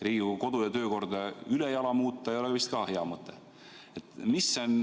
Riigikogu kodu- ja töökorda ülejala muuta ei ole vist ka hea mõte.